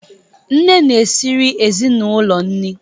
Nne na-esịrị ezịnulo nri